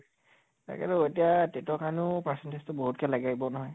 তাকেতো এতিয়া TET ৰ কাৰণে percentage টো বহুত কে লাগিব নহয়